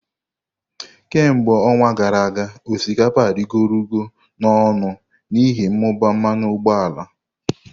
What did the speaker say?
Kemgbe ọnwa gara aga, osikapa arịgoro ọnụ n'ihi mmụba mmanụ ụgbọala.